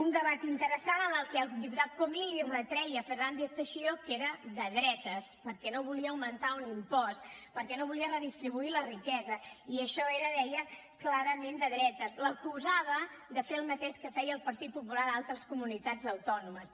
un debat interessant en què el diputat comín li retreia a fernández teixidó que era de dretes perquè no volia augmentar un impost perquè no volia redistribuir la riquesa i això era ho deia clarament de dretes l’acusava de fer el mateix que feia el partit popular a altres comunitats autònomes